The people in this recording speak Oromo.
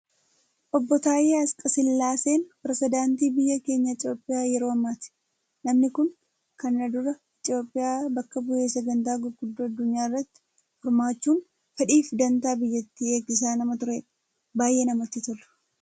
Obboo Taayyee Asqasillaaseen, Pireezedaantii Biyya keenya Itoophiyaa yeroo ammaati. Namni Kun kana dura Itoophiyaa bakka bu'ee sagantaa gurguddo addunyaa irratti hirmaachuun fedhii fi dantaa biyyattii eegsisaa nama turedha. Baayyee namatti tolu.